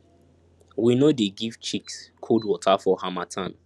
we no dey give chicks cold water for harmattan